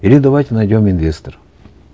или давайте найдем инвестора